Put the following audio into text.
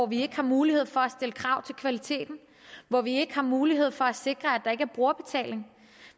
vi ikke har mulighed for at stille krav til kvaliteten og at vi ikke har mulighed for at sikre at der ikke er brugerbetaling